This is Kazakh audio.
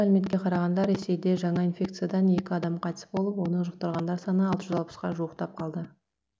мәліметке қарағанда ресейде жаңа инфекциядан екі адам қайтыс болып оны жұқтырғандар саны алты жүз алпысқа жуықтап қалды